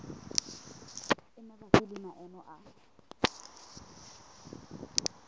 e mabapi le maemo a